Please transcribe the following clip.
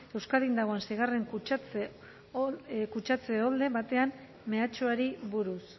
euskadin dagoen seigarren kutsatze olde baten mehatxuari buruz